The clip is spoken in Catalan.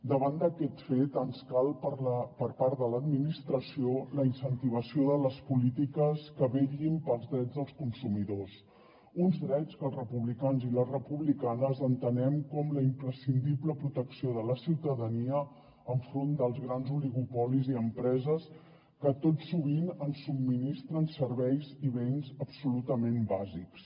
davant d’aquest fet ens cal per part de l’administració la incentivació de les polítiques que vetllin pels drets dels consumidors uns drets que els republicans i les republicanes entenem com la imprescindible protecció de la ciutadania enfront dels grans oligopolis i empreses que tot sovint ens subministren serveis i béns absolutament bàsics